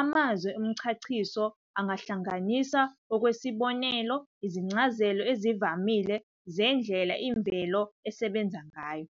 amazwi omchaciso angahlanganisa, ngokwesibonelo, izincazelo ezivamile zendlela imvelo esebenza ngayo.